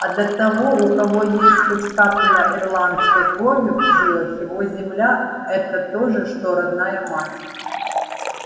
а для того у кого есть хоть капля ирландской крови в жилах его земля это то же что родная мать